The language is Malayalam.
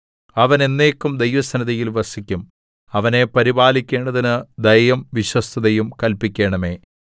അവൻ എന്നേക്കും ദൈവസന്നിധിയിൽ വസിക്കും അവനെ പരിപാലിക്കേണ്ടതിന് ദയയും വിശ്വസ്തതയും കല്പിക്കണമേ